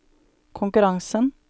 konkurransen